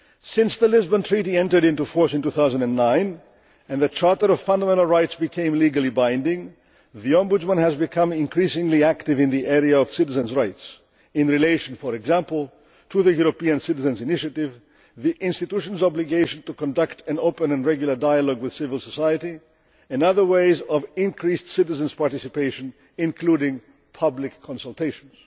Since the Lisbon Treaty entered into force in 2009 and the Charter of Fundamental Rights became legally binding, the Ombudsman has become increasingly active in the area of citizens' rights in relation, for example, to the European Citizens' Initiative, the institutions' obligation to conduct an open and regular dialogue with civil society and other ways of increased citizen participation including public consultations.